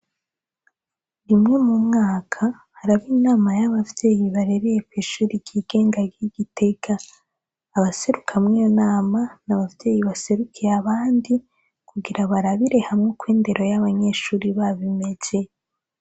Rimwe mu mwaka haraba inama y'abavyeyi barereye kishuri kigenga ry'igiteka abaserukamwe nama n' abavyeyi baserukiye abandi kugira barabire hamwe kw indero y'abanyeshuri babimeze.